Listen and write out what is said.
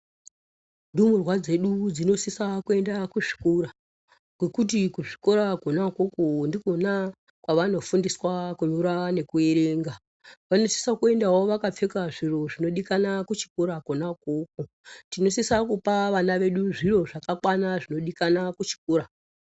Ndumurwa dzedu dzinosisa kuenda kuzvikora kwekuti kuzvikora Kona ukoko ndikona kwavanofundiswa kunyora nekuerenga , vanosisa kuendawo vakapfeka zviro zvinodikana kuchikora Kona ukoko , tinosisa kupa vana vedu zvirozvakakwana zvinodikana kuchikora.